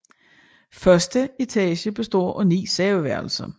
Første etage består af ni soveværelser